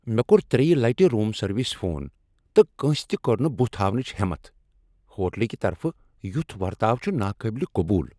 مےٚ كو٘ر ترٛیٚیہ لٹہِ روم سروسہِ فون، تہٕ کٲنٛسہِ تہِ كوٚر نہٕ بُتھ ہاونٕچ ہیٚمَتھ ۔ ہوٹلٕکۍ طرفہٕ یُتھ ورتاو چُھ ناقٲبلہِ قبوٗل ۔